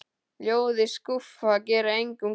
Ljóð í skúffu gera engum gagn.